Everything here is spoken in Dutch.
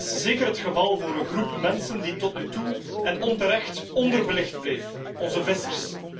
Dat is zeker het geval voor een groep mensen die tot nu toe, en onterecht, onderbelicht bleef onze vissers.